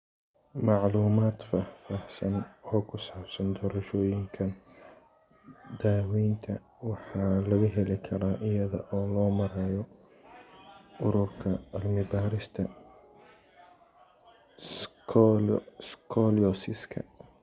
Macluumaad faahfaahsan oo ku saabsan doorashooyinkan daawaynta waxaa laga heli karaa iyada oo loo marayo Ururka Cilmi-baarista Scoliosiska.